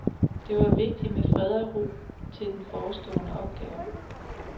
Det var vigtigt med fred og ro til den forestående opgave.